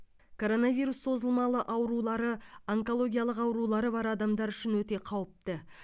коронавирус созымалы аурулары онкологиялық аурулары бар адамдар үшін өте қауіпті